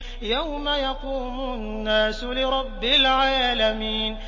يَوْمَ يَقُومُ النَّاسُ لِرَبِّ الْعَالَمِينَ